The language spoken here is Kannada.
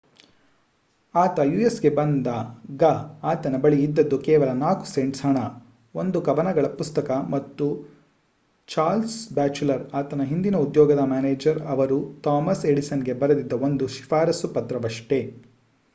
ಆತ ಯುಸ್‌ಗೆ ಬಂದಾಗ ಆತನ ಬಳಿ ಇದ್ದದ್ದು ಕೇವಲ 4 ಸೆಂಟ್ಸ್ ಹಣ ಒಂದು ಕವನಗಳ ಪುಸ್ತಕ ಮತ್ತು ಚಾರ್ಲ್ಸ್ ಬ್ಯಾಚುಲರ್ ಆತನ ಹಿಂದಿನ ಉದ್ಯೋಗದ ಮ್ಯಾನೇಜರ್ ಅವರು ಥಾಮಸ್ ಎಡಿಸನ್‌ಗೆ ಬರೆದಿದ್ದ ಒಂದು ಶಿಫಾರಸ್ಸು ಪತ್ರವಷ್ಟೇ